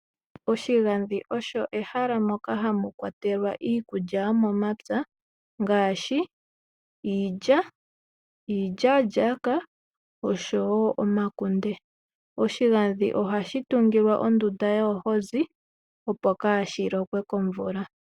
Oshigandhi osho ehala moka hamu kwatelwa iilikolomwa yomomapya ngaashi iilya, iilyaalyaaka osho wo omakunde. Oshigadhi ohashi kumbilwa ondunda yoohozi opo kaashi lokwe komvula.